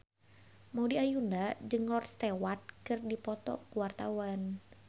Maudy Ayunda jeung Rod Stewart keur dipoto ku wartawan